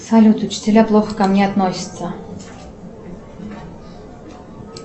салют учителя плохо ко мне относятся